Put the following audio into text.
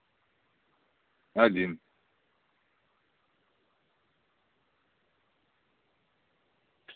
один